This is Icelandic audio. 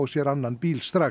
sér annan bíl strax